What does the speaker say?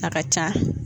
A ka ca